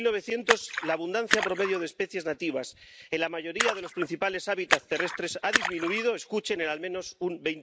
Desde 1900 la abundancia promedio de especies nativas en la mayoría de los principales hábitats terrestres ha disminuido —escuchen— en al menos un